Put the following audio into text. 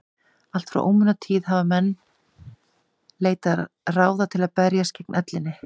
allt frá ómunatíð hafa menn leitað ráða til að berjast gegn ellinni